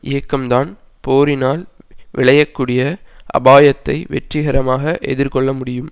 இயக்கம்தான் போரினால் விளையக்கூடிய அபாயத்தை வெற்றிகரமாக எதிர் கொள்ள முடியும்